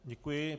Děkuji.